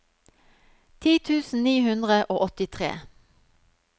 ti tusen ni hundre og åttitre